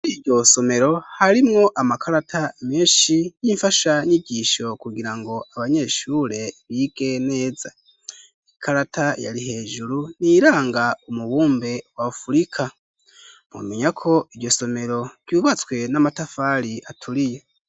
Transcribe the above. Muri iryo somero harimwo amakarata menshi y'imfashanyigisho kugira ngo abanyeshure bige neza ikarata yari hejuru ni iyiranga umubumbe wa Afrika mwomenya ko iryo somero ryubatswe n'amatafari aturiye.